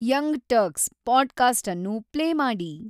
Young Turks podcast ಅನ್ನು play ಮಾಡಿ